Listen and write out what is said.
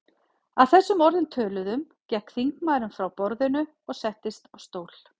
Að þessum orðum töluðum gekk þingmaðurinn frá borðinu og settist á stól.